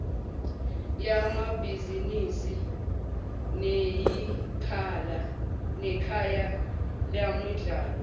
yamabhizinisi neyikhaya lemidlalo